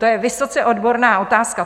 To je vysoce odborná otázka.